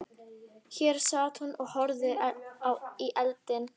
Hér sat hún og horfði í eldinn.